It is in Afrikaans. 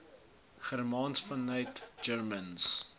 germaans vanuit germaans